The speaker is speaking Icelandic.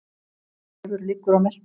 Refur liggur á meltunni.